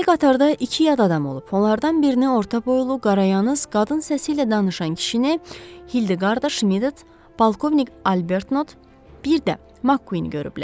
Deməli, qatarda iki yad adam olub, onlardan birini orta boylu, qarayandız, qadın səsi ilə danışan kişini Hildeqard Şmit, polkovnik Albernot, bir də Makkuin görüblər.